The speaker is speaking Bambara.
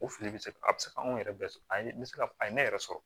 O fili bɛ se ka a bɛ se ka anw yɛrɛ bɛɛ sɔrɔ a ye n bɛ se ka a ye ne yɛrɛ sɔrɔ